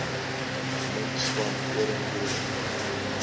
min swart koringboere